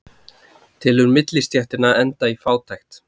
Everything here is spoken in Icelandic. Telur millistéttina enda í fátækt